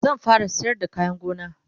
zan fara sayar da kayan gona